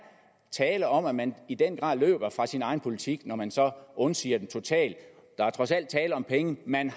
tale om at man i den grad løber fra sin egen politik når man undsiger den totalt der er trods alt tale om penge man